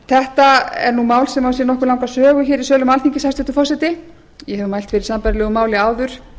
þetta er mál sem á sér nokkuð langa sögu í sölum alþingis hæstvirtur forseti ég hef mælt fyrir sambærilegu máli áður